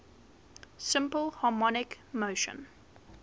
simple harmonic motion